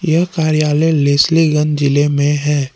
यह कार्यालय लेसलीगंज जिले में है।